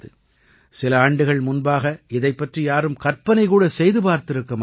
சில ஆண்டுகள் முன்பாக இதைப் பற்றி யாரும் கற்பனை கூட செய்து பார்த்திருக்க மாட்டார்கள்